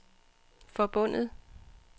forbundet